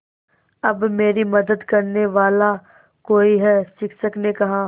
अब मेरी मदद करने वाला कोई है शिक्षक ने कहा